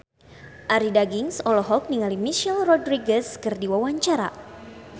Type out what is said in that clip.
Arie Daginks olohok ningali Michelle Rodriguez keur diwawancara